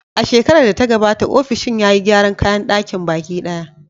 A shekarar da ta gabata, ofishin ya yi gyaran kayan ɗakin baki ɗaya.